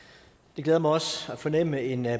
det glæder mig også at fornemme en